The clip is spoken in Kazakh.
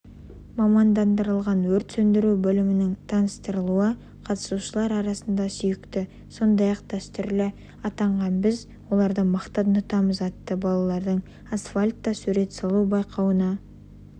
мамандандырылған өрт сөндіру бөлімінің таныстырылуы қатысушылар арасында сүйікті сондай-ақ дәстүрлі атанған біз оларды мақтан тұтамыз атты балалардың асфальтта сурет салу байқауына